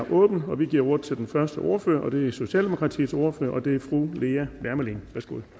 åbnet og vi giver ordet til den første ordfører det er socialdemokratiets ordfører og det er fru lea wermelin